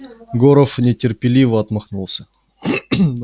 горов нетерпеливо отмахнулся